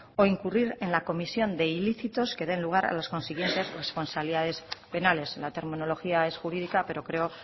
o incurrir en la comisión de ilícitos que den lugar a las consiguientes responsabilidades penales la terminología es jurídica pero creo